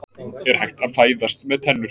Er hægt að fæðast með tennur?